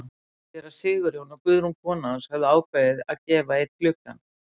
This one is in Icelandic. Séra Sigurjón og Guðrún kona hans höfðu ákveðið að gefa einn gluggann.